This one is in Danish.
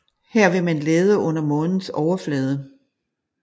Her vil man lede under Månens overflade